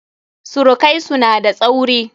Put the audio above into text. Surukaisu na da tsauri.